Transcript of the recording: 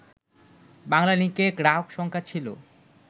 বাংলালিংকের গ্রাহক সংখ্যা ছিল